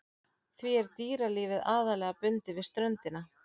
Því er dýralífið aðallega bundið við ströndina.